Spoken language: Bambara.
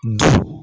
Du